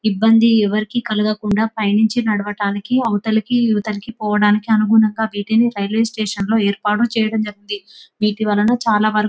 ఇబ్బంది ఎవరికి కలగకుండా పైనుంచి నడవడానికి అవతలికి ఇవతలకి పోవడానికి అనుగుణంగా వీటిని రైల్వే స్టేషన్ లో ఏర్పాటు చేయడం జరిగింది వీటి వలన చాలావరకు --